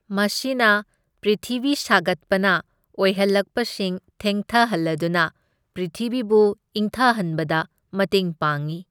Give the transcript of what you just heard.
ꯃꯁꯤꯅ ꯄ꯭ꯔꯤꯊꯤꯚꯤ ꯁꯥꯒꯠꯄꯅ ꯑꯣꯏꯍꯜꯛꯄꯁꯤꯡ ꯊꯦꯡꯊꯍꯜꯂꯗꯨꯅ ꯄ꯭ꯔꯤꯊꯤꯚꯤꯕꯨ ꯏꯪꯊꯍꯟꯕꯗ ꯃꯇꯦꯡ ꯄꯥꯡꯢ꯫